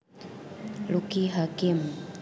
Lucky Hakim